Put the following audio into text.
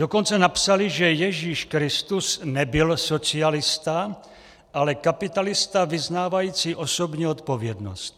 Dokonce napsali, že Ježíš Kristus nebyl socialista, ale kapitalista vyznávající osobní odpovědnost.